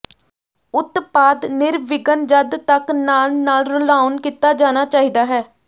ਉਤਪਾਦ ਨਿਰਵਿਘਨ ਜਦ ਤੱਕ ਨਾਲ ਨਾਲ ਰਲਾਉਣ ਕੀਤਾ ਜਾਣਾ ਚਾਹੀਦਾ ਹੈ